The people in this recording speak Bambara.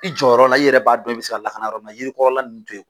I jɔ yɔrɔ la i yɛrɛ b'a dɔn i be se ka lakana yɔrɔ min na yirikɔrɔla ninnu to ye